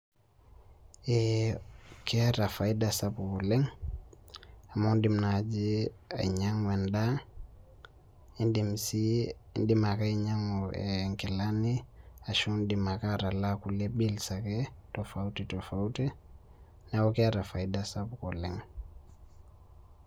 Keeta faida sapuk oleng, amu idim naji ainyang'u endaa, nidim si idim ake ainyang'u nkilani ashu idim ake atalaa kulie bills ake tofauti tofauti, neeku keeta faida sapuk oleng.